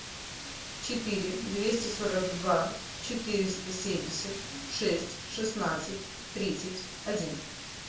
четыре двести сорок два четыреста семьдесят шесть шестнадцать тридцать один